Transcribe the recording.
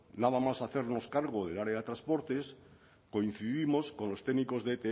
nada más hacernos cargo del área de transportes coincidimos los técnicos de